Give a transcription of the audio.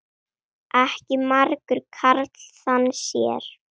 Ekki margur karl þann sér.